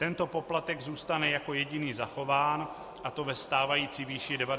Tento poplatek zůstane jako jediný zachován, a to ve stávající výši 90 korun.